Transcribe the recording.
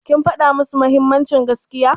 Kin faɗa musu mahimmancin gaskiya?